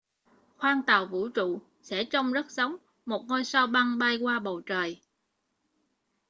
khoang tàu vũ trụ sẽ trông rất giống một ngôi sao băng bay qua bầu trời